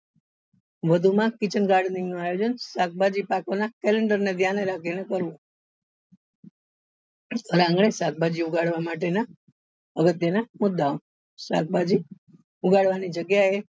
વધુ માં kitchen garden નું આયોજન શાકભાજી પાકવા ના calendar ને ધ્યાન માં રાખી ને કરવું અને હવે શાકભાજી ઉગાડવા માટે ના અગત્ય ના મુદ્દા ઓ શાકભાજી ઉગાડવા ની જગ્યા એ